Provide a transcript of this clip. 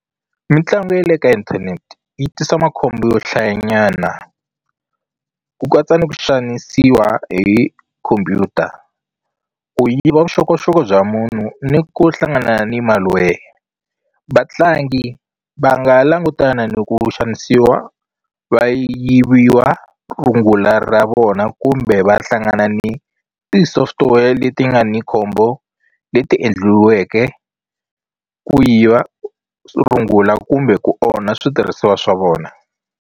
Mitlangu ya le ka inthanete yi tisa makhombo yo hlaya nyana ku katsa ni ku xanisiwa hi khompyuta ku yiva vuxokoxoko bya munhu ni ku hlangana ni malware vatlangi va nga langutana ni ku xanisiwa va yiviwa rungula ra vona kumbe va hlangana ni ti-software leti nga ni khombo leti endliweke ku yiva rungula kumbe ku onha switirhisiwa swa vona.